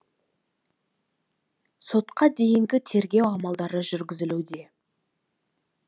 сотқа дейінгі тергеу амалдары жүргізілуде